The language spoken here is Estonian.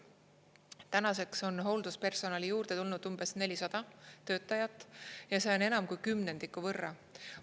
Tänaseks on hoolduspersonali juurde tulnud umbes 400 töötajat ja see on enam kui kümnendiku võrra.